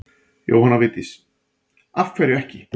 Jóhanna Vigdís: Af hverju ekki?